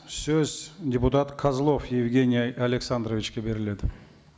сөз депутат козлов евгений александровичке беріледі